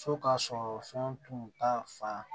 So ka sɔrɔ fɛn tun t'a fan